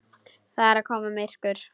Það er að koma myrkur.